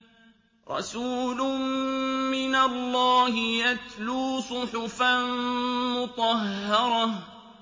رَسُولٌ مِّنَ اللَّهِ يَتْلُو صُحُفًا مُّطَهَّرَةً